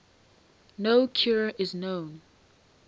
no cure is known